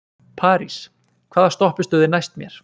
París, hvaða stoppistöð er næst mér?